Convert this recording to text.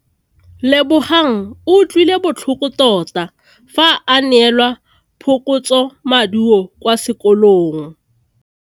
Lebogang o utlwile botlhoko tota fa a neelwa phokotsômaduô kwa sekolong.